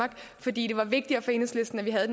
fordi